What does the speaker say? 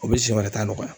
O bɛ si wɛrɛ ta nɔgɔya